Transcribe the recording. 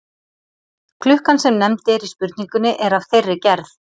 Klukkan sem nefnd er í spurningunni er af þeirri gerð.